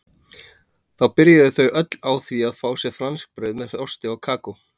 Þá byrjuðu þau öll á því að fá sér franskbrauð með osti og kakó.